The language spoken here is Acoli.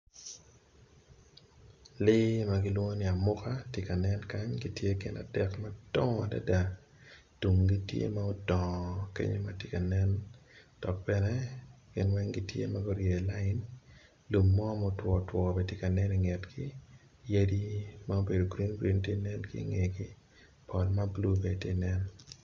Lee magilwong ni amuka tye ka nen kany gitye gin adek madongo adada tunggi tye ma odongo tenge tye kanen dok bene gin weng gitye maguryeyo lain lum mo ma otwotwo bene tye ka nen ingetgi yadi ma obedo green green bene tye ka nen ingegi ot ma blue bene tye nen.